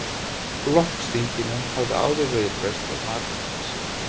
Flokksþinginu hafði áður verið frestað margsinnis